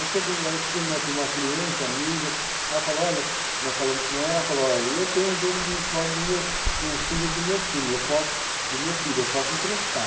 Aí chegou, aí tinha, nós tinha uma cliente, amiga, ela falou olha, nós falamos com ela, ela falou, olha, eu tenho um jogo de uniforme do meu, do filho do meu time, eu posso, do meu filho, eu posso emprestar.